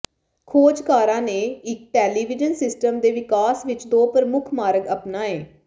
ਖੋਜਕਾਰਾਂ ਨੇ ਇਕ television system ਦੇ ਵਿਕਾਸ ਵਿਚ ਦੋ ਪ੍ਰਮੁੱਖ ਮਾਰਗ ਅਪਣਾਏ